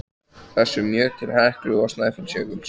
þessum mjög til Heklu og Snæfellsjökuls.